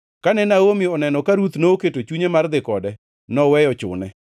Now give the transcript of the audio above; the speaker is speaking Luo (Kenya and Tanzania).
Kane Naomi oneno kaka Ruth noketo chunye mar dhi kode, noweyo chune.